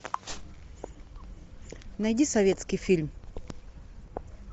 найди советский фильм